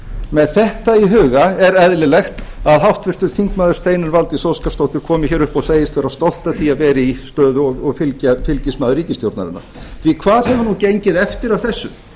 með þetta í huga er eðlilegt að háttvirtir þingmenn steinunn valdís óskarsdóttir komi hér upp og segist vera stolt af því að vera í stöðu og fylgismaður ríkisstjórnarinnar því hvað hefur nú gengið eftir af þessu